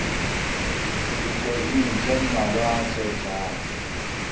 dikgweding tse mmalwa tse tlang